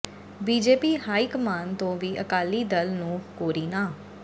BJP high command ਤੋਂ ਵੀ ਅਕਾਲੀ ਦਲ ਨੂੰ ਕੋਰੀ ਨਾਂਹ